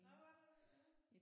Nåh var der det ja